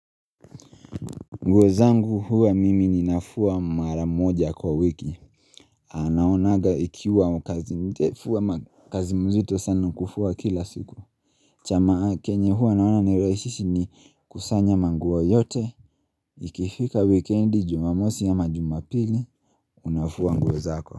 Nguo zangu huwa mimi ninafua mara moja kwa wiki naonaga ikiwa kazi ndefu ama kazi mzito sana kufua kila siku Chama kenye huwa naona nereishishi ni kusanya manguo yote Ikifika wikendi jumamosi ama majumapili Unafua nguo zako.